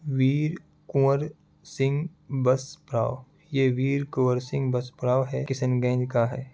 वीर Kunwar Kuwar Singh bus पड़ाव ये Veer Kuwar Singh bus पड़ाव है किशनगंज का है।